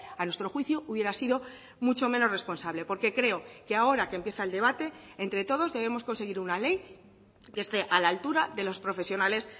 a nuestro juicio hubiera sido mucho menos responsable porque creo que ahora que empieza el debate entre todos debemos conseguir una ley que esté a la altura de los profesionales